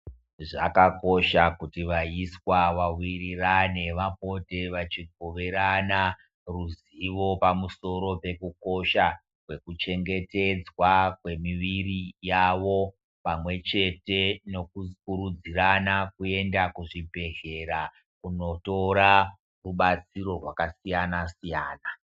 Zvakakosha kuti vaiswa va wirirane vapote vachi kuvirana ruzivo pamusoro pe kukosha kweku chengetedzwa kwe miviri yavo pamwe chete neku kurudzirana kuenda ku zvibhedhlera kunotora rubatsiro rwaka siyana siyana.